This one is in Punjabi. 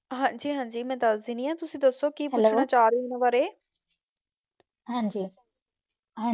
ਹਾਂਜੀ ਹਾਂਜੀ ਮੈਂ ਦੱਸ ਦਿੰਦੀ ਹਾਂ ਤੁਸੀਂ ਦੱਸੋ ਕੀ ਪੁੱਛਣਾ ਚਾਹੁੰਦੇ ਹੋ ਉਹਨਾਂ ਬਾਰੇ